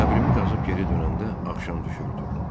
Qəbrimi qazıb geri dönəndə axşam düşürdü.